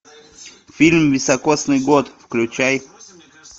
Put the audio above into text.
фильм високосный год включай